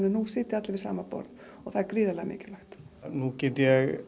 nú sitja allir við sama borð og það er gríðarlega mikilvægt nú get ég